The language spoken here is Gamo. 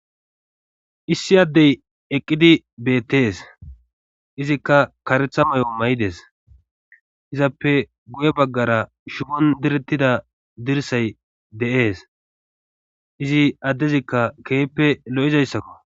Issi addey eqqidi bettees izikka karetha may7o may7ides izappe guye baggara shubon direttida dirsay de7ees izi addezikka keeppe lo'izayssakko.